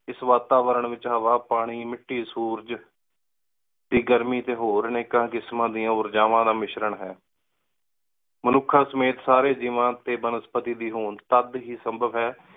ਇਸ ਵਾਤਾਵਰਨ ਵਿਚ ਹਵਾ ਪਾਣੀ ਮਿੱਟੀ ਸੂਰਜ ਦੀ ਗਰਮੀ ਟੀ ਹੋਰ ਅਨੇਕਾਂ ਕਿਸਮਾਂ ਦਿਯਾਂ ਊਰਜਾਵਾਂ ਦਾ ਮਿਸ਼੍ਰਣ ਹੈ। ਮਨੁੱਖਾ ਸਮੇਤ ਸਮੇਤ ਜੇਵਾਂ ਟੀ ਬਨਸਪਤੀ ਦੀ ਹੋਣ ਤਦ ਹੀ ਸੰਭਵ ਹੈ